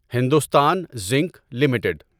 Hindustan zinc limited